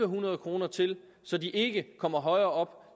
hundrede kroner til så de ikke kommer højere